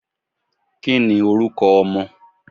kí ní oruko ọmọ?